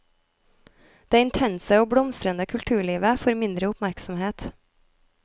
Det intense og blomstrende kulturlivet får mindre oppmerksomhet.